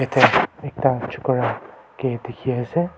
jatte ekta chokara ke dekhi ase.